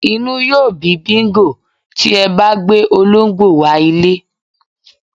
Inú yóó bí Bingo (ajá) tí e̩ bá gbé olóǹgbò wá ilé